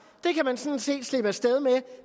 det kan man sådan set slippe af sted med